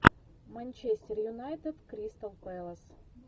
манчестер юнайтед кристал пэлас